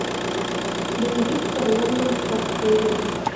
боевик с арнольдом шварценеггером